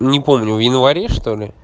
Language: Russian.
не помню в январе что ли